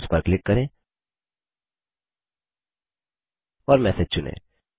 inbox पर click करें और मैसेज चुनें